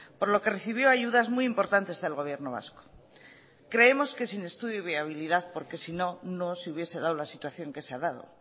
por lo que recibió ayudas muy importantes del gobierno vasco creemos que sin estudio de viabilidad porque sino no se hubiese dado la situación que se ha dado